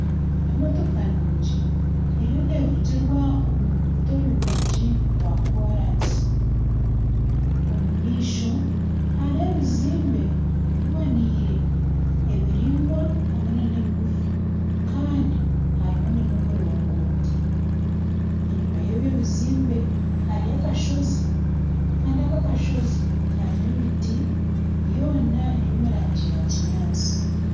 Emotoka nungi eriyo neevugirwa omu ruguuto rurungi rwa koraasi, omu maisho harimu ebizimbe biboniire, ebiraingwa hamwe nana ebigufu kandi hariho nana omurongoti enyima y'ebyo bizimbe hariyo akashozi kandi ako akashozi karimu emiti yoona eri omu rangi ya kinyaatsi